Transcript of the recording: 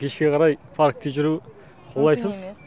кешке қарай паркте жүру қолайсыз